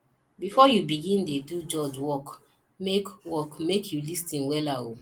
bifor yu begin dey do judge work mek work mek yu lis ten wella o